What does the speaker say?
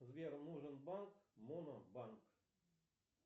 сбер нужен банк монобанк